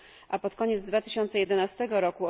a pod koniec 2011 r.